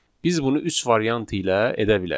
Biz bunu üç variant ilə edə bilərik.